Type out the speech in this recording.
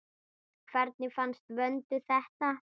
Hvernig fannst Vöndu þetta?